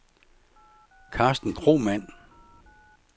Carsten Kromann